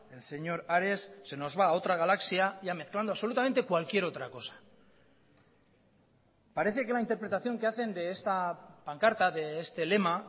el señor ares se nos va a otra galaxia ya mezclando absolutamente cualquier otra cosa parece que la interpretación que hacen de esta pancarta de este lema